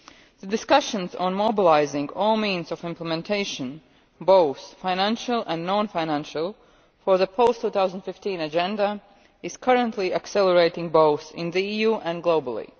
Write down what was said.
The discussion on mobilising all means of implementation, both financial and non financial, for the post 2015 agenda, is currently accelerating both in the EU and globally.